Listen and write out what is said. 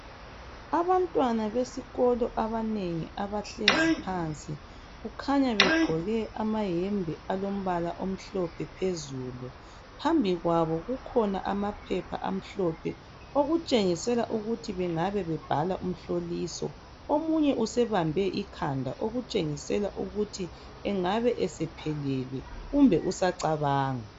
Abantwana besikolo abanengi abahlezi phansi. Kukhanya begqoke amayembe, alombala omhlophe phezulu. Phambi kwabo kukhona 1amaphepha amhlophe. Okutshengisela ukuthi bangabe bebhala umhloliso. Omunye wabo ukhanya esebambe ikhanda. Okutshengisa ukuthi angabe esephelelwe. Kumbe usacabanga.